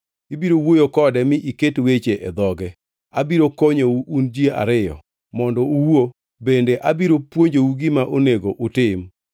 Ibiro wuoyo kode mi iket weche e dhoge; abiro konyou un ji ariyo mondo uwuo bende abiro puonjou gima onego utim.